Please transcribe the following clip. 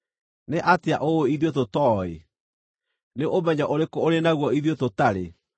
Nĩ atĩa ũũĩ ithuĩ tũtooĩ? Nĩ ũmenyo ũrĩkũ ũrĩ naguo ithuĩ tũtarĩ?